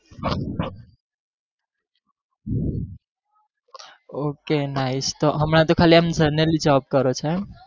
Okay nice તો હમણા તો ખાલી આમ job કરો છો એમ